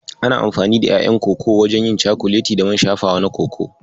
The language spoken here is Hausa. Ana amfani da ƴaƴan Koko wajen yin cakuleti da man shafawa na Koko.